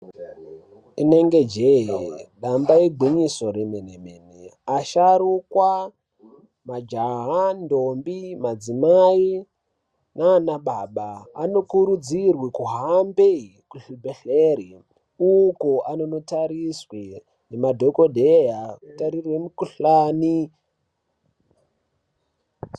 Inenge jeee damba igwinyiso remene mene asharukwa majaha ndombi madzimai nana baba anokurudzirwe kuhambe kuzvibhedhleri uko anono tariswe ngemadhokodhee kutarire mukhuhlani.